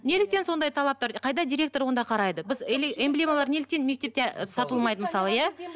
неліктен сондай талаптар қайда директор онда қарайды біз эмблемалар неліктен мектепте ы сатылмайды мысалы иә